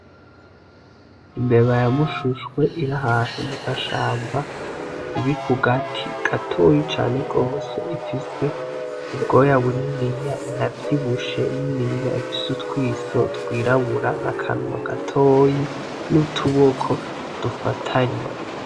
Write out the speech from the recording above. Imbeba ya mushushwe ir'ahantu mu gashamba, iri ku gati gatoyi cane gose ifise ubwoya bunini inavyibushe niniya ifise utwiso twirabura n'akanwa gatoyi n'utuboko dufatanye.